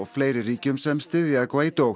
fleiri ríkjum sem styðja